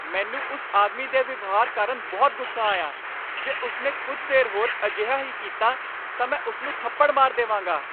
ਮੈਨੂੰ ਉਸ ਆਦਮੀ ਦੇ ਵਿਵਹਾਰ ਕਾਰਨ ਬਹੁਤ ਗੁੱਸਾ ਆਇਆ। ਜੇ ਉਸ ਨੇ ਕੁੱਝ ਦੇਰ ਹੋਰ ਅਜਿਹਾ ਹੀ ਕੀਤਾ ਤਾਂ ਮੈਂ ਉਸ ਨੂੰ ਥੱਪੜ ਮਾਰ ਦੇਵਾਂਗਾ।